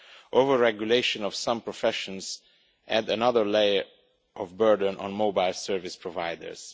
Overregulation of some professions adds another layer of burden for mobile service providers.